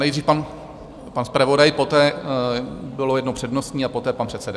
Nejdřív pan zpravodaj, poté bylo jedno přednostní a poté pan předseda.